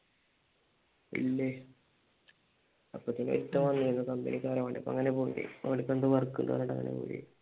ഇല്ലേ അപ്പൊ തന്നെ ഒരുത്തൻ വന്നു ഏതോ കമ്പനികാരൻ അവനുക്ക് എന്തോ work ഉണ്ടെന്ന് പറഞ്ഞിട്ടങ്ങനെ പോയി